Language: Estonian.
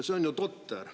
See on ju totter.